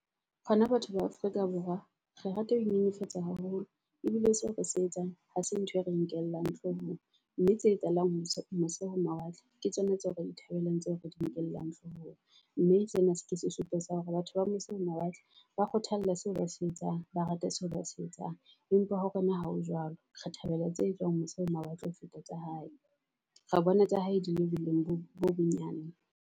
Rona batho ba Afrika Borwa re rata ho nyenyefatsa haholo ebile seo re se etsang ha se ntho e re nkellang hloohong. Mme tse etsahalang ho mose ho mawatle ke tsona tseo re di thabelang, tseo re di nkellang hloohong. Mme sena se tlisa se supo sa hore batho ba mose ho mawatle ba kgothalla seo ba se etsang ba rata seo ba se etsang. Empa ho rona ha ho jwalo, re thabela tse e tswang mose ho mawatle ho feta tsa hae. Re bone tsa hae di le boleng bo bo bonyane.